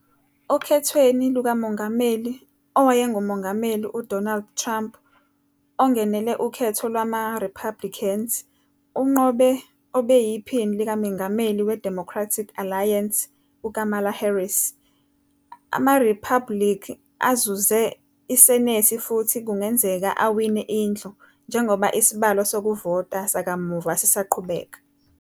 Okhethweni lukamongameli, owayengumongameli uDonald Trump, ongenele ukhetho lwama Republicans, unqobe obeyiPhini likaMengameli weDemocratic Alliance, uKamala Harris. AmaRiphabhulikhi azuze iSenethi futhi kungenzeka awine iNdlu, njengoba isibalo sokuvota sakamuva sisaqhubeka.